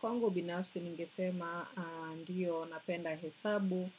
Kwangu binafsi ningesema ndiyo napenda hesabu.